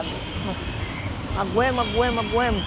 Aguemos, aguemos, aguemos.